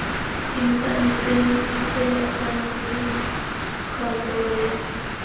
inthaneteng ikgolaganye le kantoro ya